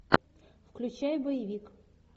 включай боевик